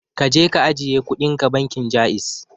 Kaje ka ajiye kudinka bankin Ja'iz.